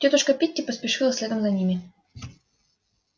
тётушка питти поспешила следом за ними